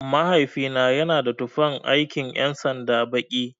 Mahaifina yana da tufan aikin ƴan sanda baki.